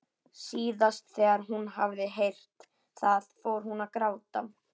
Síðast þegar hún hafði heyrt það fór hún að gráta.